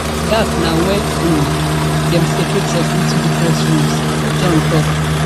dat na wen um dem separate us into into different rooms john tok